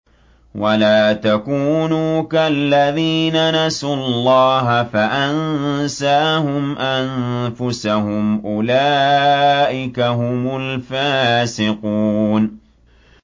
وَلَا تَكُونُوا كَالَّذِينَ نَسُوا اللَّهَ فَأَنسَاهُمْ أَنفُسَهُمْ ۚ أُولَٰئِكَ هُمُ الْفَاسِقُونَ